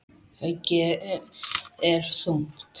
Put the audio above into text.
Höggið er þungt.